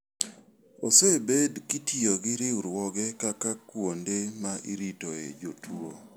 Osebed kitiyo gi riwruoge kaka kuonde ma iritoe jotuo.